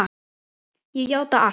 Ég játa allt